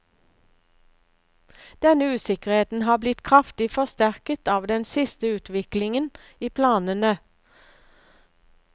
Denne usikkerheten har blitt kraftig forsterket av den siste utviklingen i planene.